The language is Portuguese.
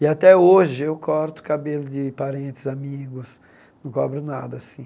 E até hoje eu corto cabelo de parentes, amigos, não cobro nada assim.